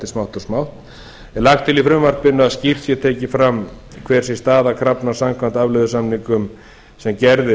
smátt og smátt er lagt til í frumvarpinu að skýrt sé tekið fram hver sé staða krafna samkvæmt afleiðusamningum sem gerðir